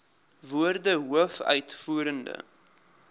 woorde hoof uitvoerende